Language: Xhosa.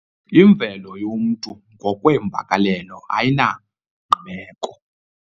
Imvelo yomntu ngokweemvakalelo ayinangqibeko.